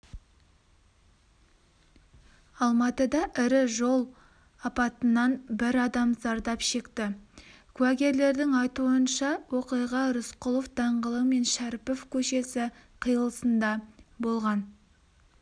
алматыда ірі жол апатынанбір адам зардап шекті куәгерлердің айтуынша оқиғарысқұлов даңғылы мен шәріпов көшесі қиылысында болған